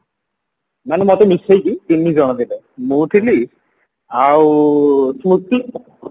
ମାନେ ମତେ ମିଶେଇକି ତିନିଜଣ ଥିଲେ ମୁଁ ଥିଲି ଆଉ ସ୍ମୃତି